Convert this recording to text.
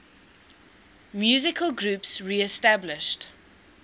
musical groups reestablished